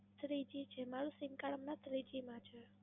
Three G છે, મારું Sim Card માં Three G છે